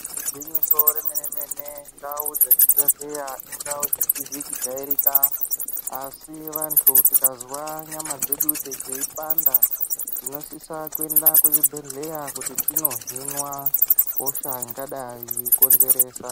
Igwinyiso remene mene ndau dzezvibhedhleya indau dzisizi kujairika asi vantu tikazwa nyama dzedu dzeipanda tinosisa kuenda kuzvibhedhleya kuti tinohinwa hosha ingadai yeikonzeresa.